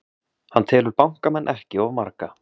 Hann telur bankamenn ekki of marga